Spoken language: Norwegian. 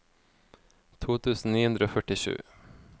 to tusen ni hundre og førtisju